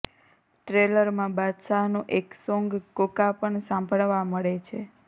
ટ્રેલરમાં બાદશાહનું એક સોંગ કોકા પણ સાંભળવા મળે છે